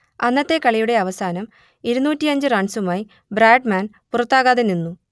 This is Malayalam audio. അന്നത്തെ കളിയുടെ അവസാനം ഇരുന്നൂറ്റിയഞ്ച് റൺസുമായി ബ്രാഡ്മാൻ പുറത്താകാതെ നിന്നു